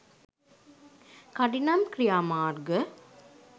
කඩිනම් ක්‍රියාමාර්ග